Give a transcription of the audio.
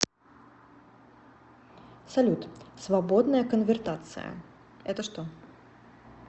салют свободная конвертация это что